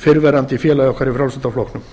fyrrverandi félagi okkar í frjálslynda flokknum